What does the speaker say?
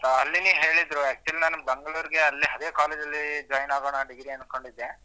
ಅಲ್ಲಿನೆ ಹೇಳಿದ್ರು actually ನಾನ್ ಬೆಂಗಳೂರ್ ಗೆ ಅದೇ college ಅಲ್ಲಿ join ಆಗೋಣ degree ಅನ್ಕೊಂಡಿದ್ದೆ